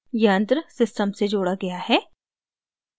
यंत्र system से जोड़ा गया है